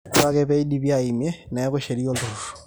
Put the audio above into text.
ore ake pee eidipi aaimie neeku sheria olturru